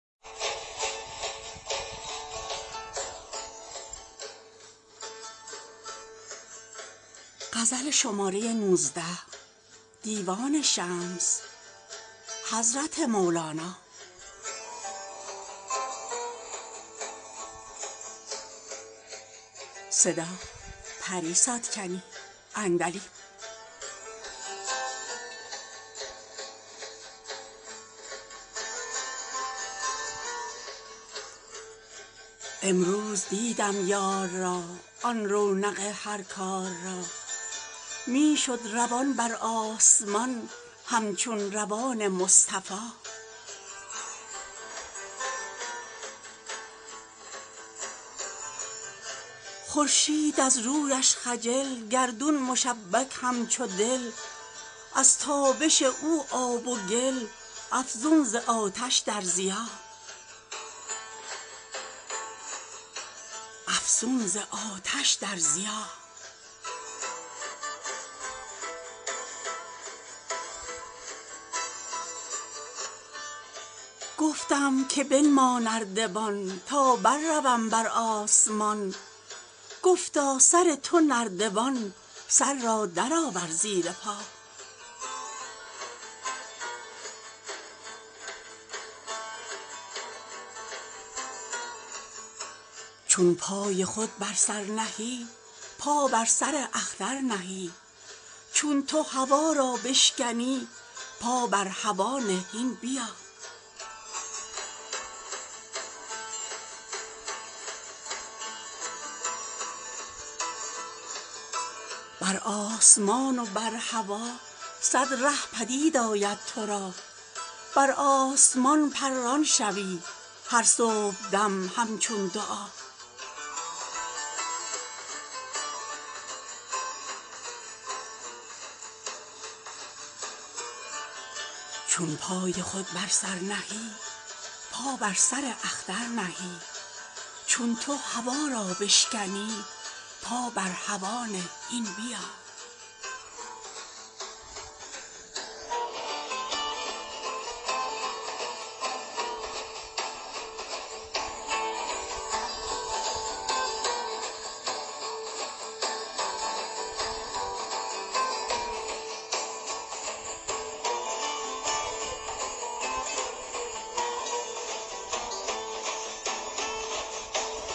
امروز دیدم یار را آن رونق هر کار را می شد روان بر آسمان همچون روان مصطفا خورشید از رویش خجل گردون مشبک همچو دل از تابش او آب و گل افزون ز آتش در ضیا گفتم که بنما نردبان تا برروم بر آسمان گفتا سر تو نردبان سر را درآور زیر پا چون پای خود بر سر نهی پا بر سر اختر نهی چون تو هوا را بشکنی پا بر هوا نه هین بیا بر آسمان و بر هوا صد ره پدید آید تو را بر آسمان پران شوی هر صبحدم همچون دعا